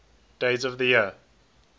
days of the year